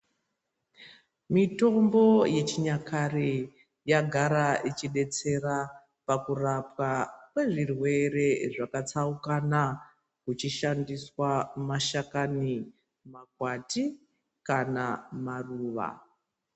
Mitombo yechinyakare yagara ichidetsera pakurapwa kwezvirwere zvakatsaukana kuchishandiswa mashakani, makwati kana maruva.